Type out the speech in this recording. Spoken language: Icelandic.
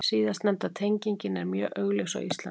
Síðastnefnda tengingin er mjög augljós á Íslandi.